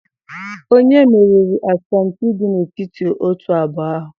onye meriri asọmpi dị n'etiti otu abụọ ahụ?